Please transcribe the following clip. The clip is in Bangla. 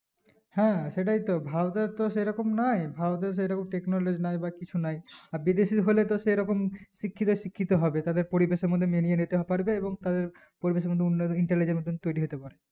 হ্যাঁ সেটাইতো ভারতের তো সেরকম নাই ভারতে সেরকম technology নাই বা কিছু নাই আর বিদেশে হলে তো সেরকম শিক্ষিত শিক্ষিত হবে তারা পরিবেশের মধ্যে মেনিয়ে নিতে পারবে এবং তো পরিবেশের মধ্যে উন্নয়ন intelligent তৈরী হতে পারে